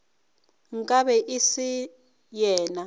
nka be e se yena